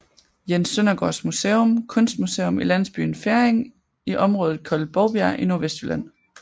Jens Søndergaards Museum kunstmuseum i landsbyen Ferring i området kaldet Bovbjerg i Nordvestjylland